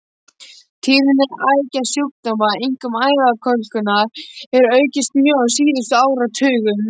Tíðni æðasjúkdóma, einkum æðakölkunar, hefur aukist mjög á síðustu áratugum.